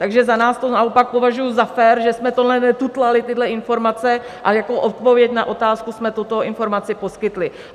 Takže za nás to naopak považuji za fér, že jsme tohle netutlali, tyhle informace, a jako odpověď na otázku jsme tuto informaci poskytli.